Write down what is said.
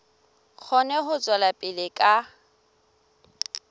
kgone ho tswela pele ka